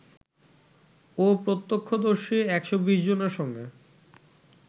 ও প্রত্যক্ষদর্শী ১২০ জনের সঙ্গে